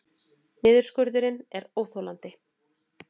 Niðurskurðurinn er óþolandi